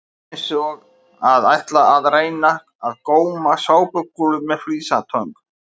Þetta er eins og að ætla að reyna að góma sápukúlur með flísatöng!